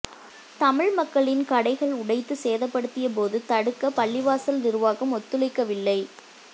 தமிழ் மக்களின் கடைகள் உடைத்து சேதப்படுத்தியபோது தடுக்க பள்ளிவாசல் நிருவாகம் ஒத்துழைக்கவில்லை